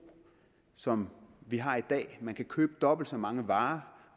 som vi har i dag man kan købe dobbelt så mange varer